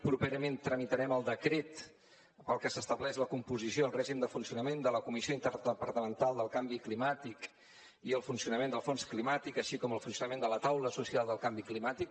properament tramitarem el decret pel qual s’estableix la composició i el règim de funcionament de la comissió interdepartamental del canvi climàtic i el funcionament del fons climàtic així com el funcionament de la taula social del canvi climàtic